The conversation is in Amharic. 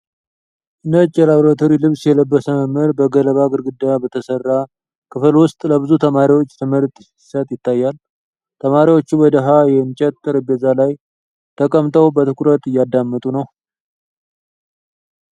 ነጭ የላብራቶሪ ልብስ የለበሰ መምህር በገለባ ግድግዳ በተሠራ ክፍል ውስጥ ለብዙ ተማሪዎች ትምህርት ሲሰጥ ይታያል። ተማሪዎቹ በድሃ የእንጨት ጠረጴዛ ላይ ተቀምጠው በትኩረት እያዳመጡ ነው።